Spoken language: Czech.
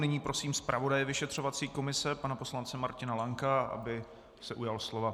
Nyní prosím zpravodaje vyšetřovací komise pana poslance Martina Lanka, aby se ujal slova.